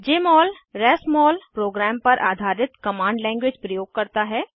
जमोल RasMol program पर आधारित command language प्रयोग करता है